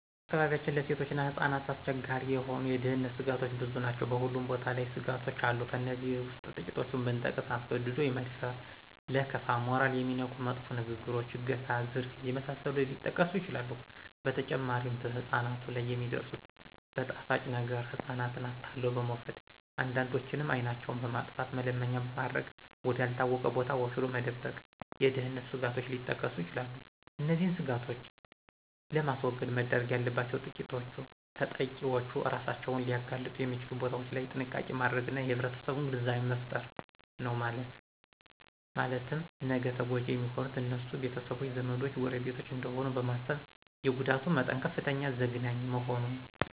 በአካባቢያችን ለሴቶችና ህጻናት አስቸጋሪ የሆኑ የደህንነተ ስጋቶች ብዙ ናቸው በሁሉም ቦታ ላይ ስጋቶች አሉ ከእነዚህ ውስጥ ትቂቶቹን ብጠቅስ አስገድዶ የመድፈር :ለከፋ :ሞራልን የሚነኩ መጥፎ ንግግሮች :አገታ :ዝርፊያ የመሳሰሉት ሊጠቀሱ ይችላሉ በተጨማሪም በህጻናት ላይ የሚደርሱት በጣፋጭ ነገረ ህጻናትን አታሎ በመውሰድ አንዳንዶችንም አይናቸውን በማጥፋተ መለመኛ ማድረግ ወደ አልታወቀ ቦታ ወስዶ መደበቅ የደህንነት ስጋቶች ሊጠቀሱ ይችላሉ። እነዚህን ስጋቶች ለማስወገድ መደረግ ያለባቸውተጠቂዎች እራሳቸውን ሊያጋልጡ የሚችሉ ቦታዎች ላይ ጥንቃቄ ማድረግና የማህረሰቡን ግንዛቤ መፍጠር ነው ማለትም ነገ ተጎጅ የሚሆኑት የነሱ ቤተሰቦች :ዘመዶች :ጎረቤቶች እደሆኑ በማሰብ የጉዳቱ መጠን ከፍተኛና ዘግናኝ መሆኑ